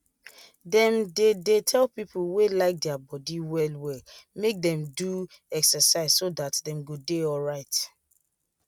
them they they tell people wey like their body well wellmake them do excerciseso that them go dey alright